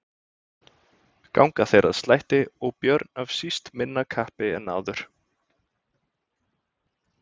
Ganga þeir að slætti og Björn af síst minna kappi en áður.